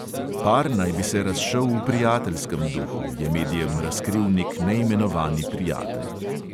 Par naj bi se razšel v prijateljskem duhu, je medijem razkril nek neimenovani prijatelj.